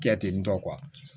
Kɛ tentɔ